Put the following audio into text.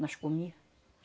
Nós comía